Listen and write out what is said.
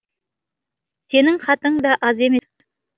сенің хатың да аз емес